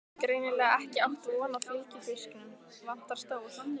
Greinilega ekki átt von á fylgifisknum, vantar stól.